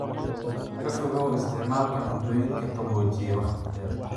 Ka fogow isticmaalka cuntooyinka qaboojiyey wakhti dheer.